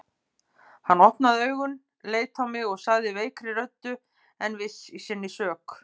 Hann opnaði augun, leit á mig og sagði veikri röddu en viss í sinni sök